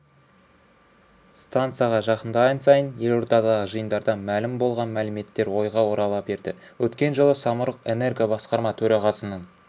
стансаға жақындаған сайын елордадағы жиындардан мәлім болған мәліметтер ойға орала берді өткен жылы самұрық-энерго басқарма төрағасының